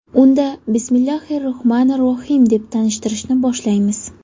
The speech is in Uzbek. Unda Bismillohir Rohmonir Rohiym, deb tanishtirishni boshlaymiz.